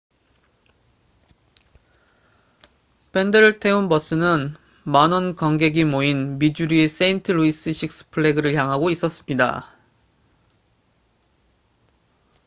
밴드를 태운 버스는 만원 관객이 모인 미주리의 세인트 루이스 식스 플래그를 향하고 있었습니다